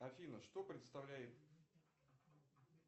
афина что представляет